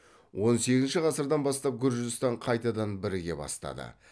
он сегізінші ғасырдан бастап гүржістан қайтадан біріге бастады